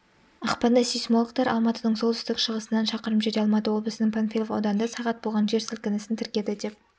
ақпанда сейсмологтар алматының солтүстік-шығысынан шақырым жерде алматы облысының панфилов ауданында сағат болған жер сілкінісін тіркеді деп